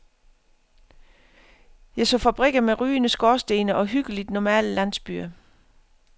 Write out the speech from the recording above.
Jeg så fabrikker med rygende skorstene og hyggeligt normale landsbyer.